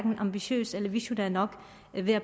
ambitiøst eller visionært nok